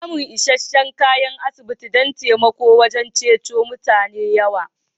Samuwan isheshe'n kayan asibiti can taimako wajen cice rayuwa'n mutane yawa.